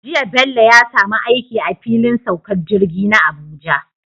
Jiya Bello ya samu aiki a filin saukar jirgi na Abuja